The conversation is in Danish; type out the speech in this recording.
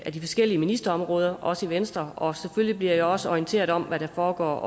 af de forskellige ministerområder også i venstre og selvfølgelig bliver jeg også orienteret om hvad der foregår